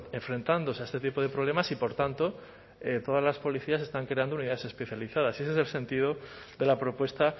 enfrentándose a este tipo de problemas y por tanto todas las policías están creando unidades especializadas y ese es el sentido de la propuesta